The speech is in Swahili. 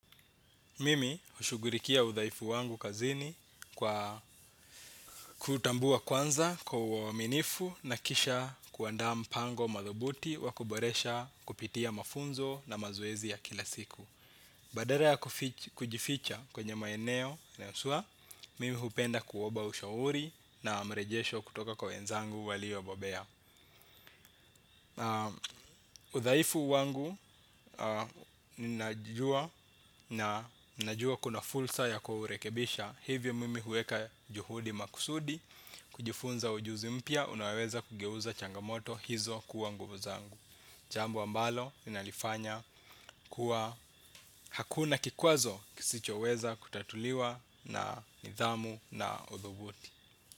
Mimi hushughurikia udhaifu wangu kazini kwa kutambua kwanza kwa uaminifu na kisha kuandaa mpango madhubuti wa kuboresha kupitia mafunzo na mazoezi ya kila siku. Badala ya kujificha kwenye maeneo na yaswa, mimi hupenda kuomba ushauri na mrejesho kutoka kwa wenzangu walio bobea. Udhaifu wangu ninajua kuna fulsa ya kurekebisha. Hivyo mimi huweka juhudi makusudi. Kujifunza ujuzi mpya unaweza kugeuza changamoto hizo kuwa nguvu zangu. Jambo ambalo ninalifanya kuwa hakuna kikwazo kisicho weza kutatuliwa na nidhamu na udhubuti.